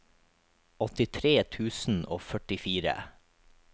åttitre tusen og førtifire